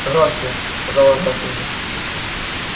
громче сказала графиня